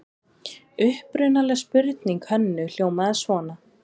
Upprunaleg spurning Hönnu hljómaði svona: